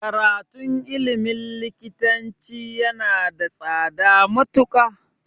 Karatun ilmin likitanci yana da tsada matuƙa